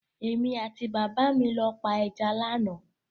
Èmi àti bàbá mi lọ pa ẹja lánàá.